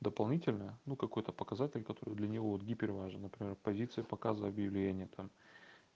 дополнительная ну какой-то показатель который для него вот гипер важно например позиция показа объявления там